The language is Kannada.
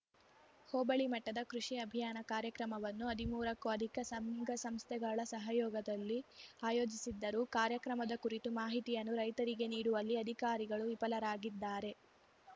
ಹೋಬಳಿ ಮಟ್ಟದ ಕೃಷಿ ಅಭಿಯಾನ ಕಾರ್ಯಕ್ರಮವನ್ನು ಹದಿಮೂರಕ್ಕೂ ಅಧಿಕ ಸಂಘ ಸಂಸ್ಥೆಗಳ ಸಹಯೋಗದಲ್ಲಿ ಆಯೋಜಿಸಿದ್ದರೂ ಕಾರ್ಯಕ್ರಮದ ಕುರಿತು ಮಾಹಿತಿಯನ್ನು ರೈತರಿಗೆ ನೀಡುವಲ್ಲಿ ಅಧಿಕಾರಿಗಳು ವಿಫಲರಾಗಿದ್ದಾರೆ